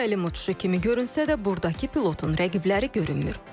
Təlim uçuşu kimi görünsə də, burdakı pilotun rəqibləri görünmür.